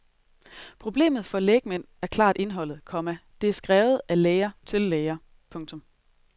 Problemet for lægmand er klart indholdet, komma det er skrevet af læger til læger. punktum